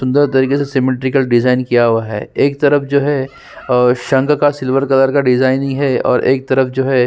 अंदर से symmetrical design किया हुआ है एक तरफ जो है अ शंक का सिल्वर कलर का डिजाइन है और एक तरफ जो है --